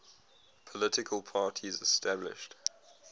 political parties established